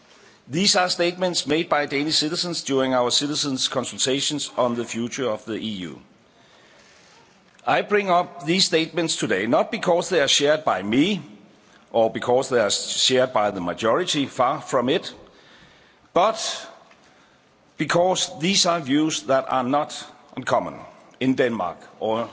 These are statements made by Danish citizens during our citizens' consultations on the future of the EU. I bring up these statements today not because they are shared by me or because they are shared by the majority far from it, but because these are views that are not uncommon in Denmark or